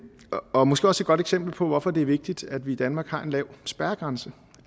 og måske også et godt eksempel på hvorfor det er vigtigt at vi i danmark har en lav spærregrænse